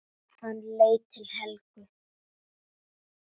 Hann leit til Helgu.